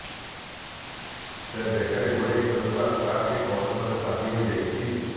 ସେ ବେକରେ ଗୁଡ଼ାଇ ଖେଳୁଥିବା ସ୍କାର୍ଫଟି କୌଣସିମତେ ଚାପି ହୋଇ ଯାଇଛି